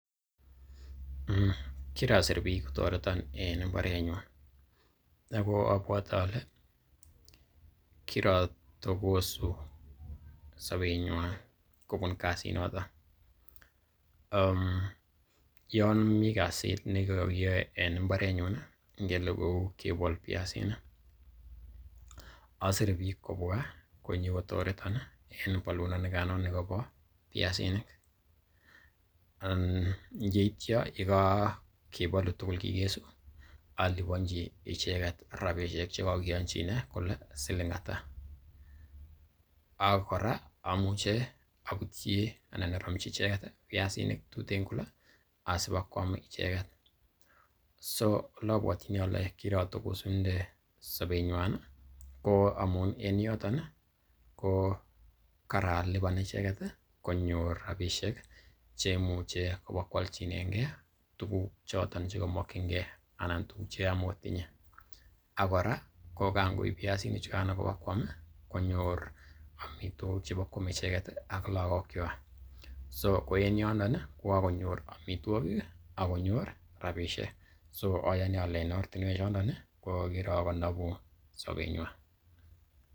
kirasir biik kotoreton en mbarenyuna ago obwote ole kirotogosu sobenywan kobun kasinoto. Yon mi kasit ne kokiyoe en mbarenyun ii, ngele kou kebol biasinik asire biik kobwa konyokotoreton en bolunonikano nikobo biasinik. Yeityo ye kogebolu tuugl kigesu aliponji icheget rabinik che kogikeyonjine kole siling ata. Ak kora amuche abutyi anan aromchi icheget biasinik tuten kole asibakwam icheget. So oleabwotyini ole kirotokosunde sobenywan ko amu en yoton ko karalipan icheget, konyor rabishek che imuche kobakoalchinenge tuguk choton che komokinge anan tuguk che kamagotinye. Ak kora ko kangoib biasinik chugan ibakwam konyor tuguk chebokwome icheget ak lagokkywak. So ko en yondo ko kagonyor amitwogik akkonyor rabishek. Ayoni ole en ortinwek chondon ko kirokonobu sobenywan.